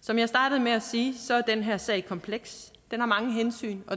som jeg startede med at sige er den her sag kompleks den har mange hensyn og